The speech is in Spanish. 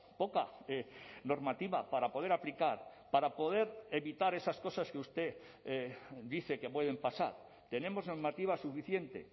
poca normativa para poder aplicar para poder evitar esas cosas que usted dice que pueden pasar tenemos normativa suficiente